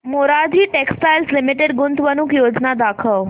Morarji textiles limited गुंतवणूक योजना दाखव